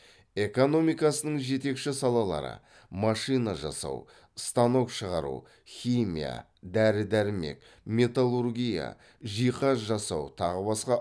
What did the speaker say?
экономикасының жетекші салалары машина жасау станок шығару химия дәрі дәрмек металлургия жиһаз жасау тағы басқа